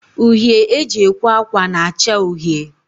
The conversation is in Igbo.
Uhie e ji ekwe akwa na-acha uhie